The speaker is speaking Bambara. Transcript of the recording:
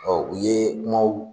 u ye kumaw